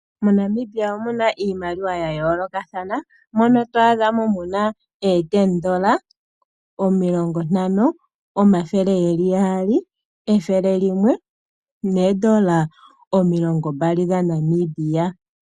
MoNamibia omu na iimaliwa ya yoolokathana moka to adha mu na oodola omulongo, oodola omilongontano, oodola omathele gaali noodola omilongombali dhaNamibia.